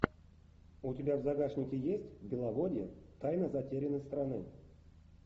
у тебя в загашнике есть беловодье тайна затерянной страны